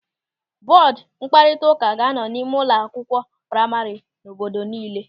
Bọọdu mkparịta ụka ga-anọ n'ime ụlọ akwụkwọ praima nọ n'obodo niile.